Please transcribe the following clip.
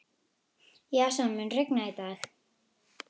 Jason, mun rigna í dag?